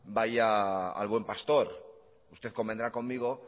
vaya al buen pastor usted convendrá conmigo